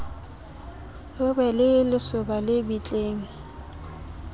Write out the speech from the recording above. ho be le lesoba lebitleng